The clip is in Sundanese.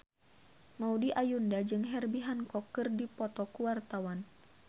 Maudy Ayunda jeung Herbie Hancock keur dipoto ku wartawan